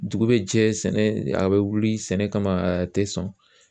Dugu bɛ jɛ sɛnɛ a bɛ wuli sɛnɛ kama a tɛ sɔn